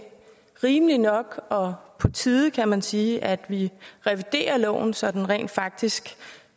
rimeligt nok og på tide kan man sige at vi reviderer loven så den rent faktisk